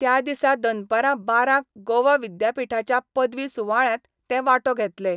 त्या दिसा दनपरां बारांक गोवा विद्यापीठाच्या पदवी सुवाळ्यात ते वांटो घेतले.